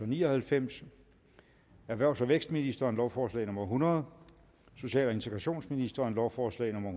ni og halvfems erhvervs og vækstministeren lovforslag nummer l hundrede social og integrationsministeren lovforslag nummer